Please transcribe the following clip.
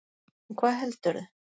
En hvað heldurðu?